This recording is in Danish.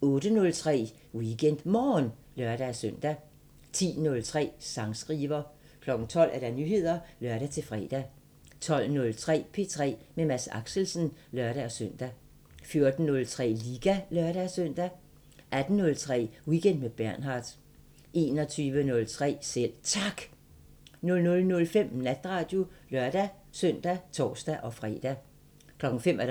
08:03: WeekendMorgen (lør-søn) 10:03: Sangskriver 12:00: Nyheder (lør-fre) 12:03: P3 med Mads Axelsen (lør-søn) 14:03: Liga (lør-søn) 18:03: Weekend med Bernhard 21:03: Selv Tak 00:05: Natradio (lør-søn og tor-fre) 05:00: